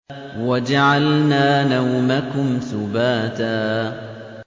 وَجَعَلْنَا نَوْمَكُمْ سُبَاتًا